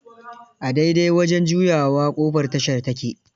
A dai dai wajen juyawa, ƙofar tashar ta ke